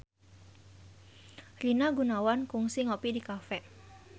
Rina Gunawan kungsi ngopi di cafe